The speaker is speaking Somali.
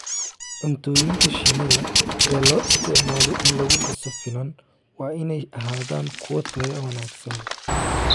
Cuntooyinka shinnida ee loo isticmaalo in lagu dhiso finan waa inay ahaadaan kuwo tayo wanaagsan leh.